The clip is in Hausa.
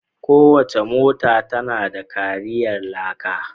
Kowace mota tana da kariyar laka.